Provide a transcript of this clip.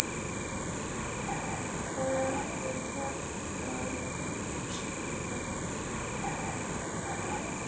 Hvað er verið að segja þar?